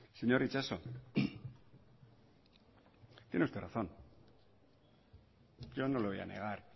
señor itxaso tiene usted razón yo no le voy a negar